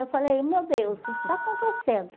Eu falei, meu Deus, o que está acontecendo?